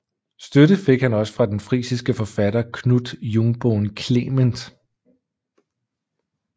Støtte fik han også fra den frisiske forfatter Knut Jungbohn Clement